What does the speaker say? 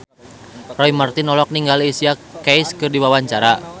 Roy Marten olohok ningali Alicia Keys keur diwawancara